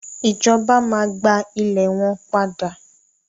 Ìjọba máa gba ile rẹ padà.